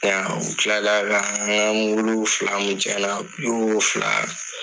I y'a ye u tilala ka an ka fila kun tiɲɛna u y'o